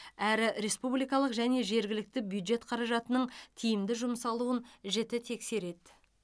әрі республикалық және жергілікті бюджет қаражатының тиімді жұмсалуын жіті тексереді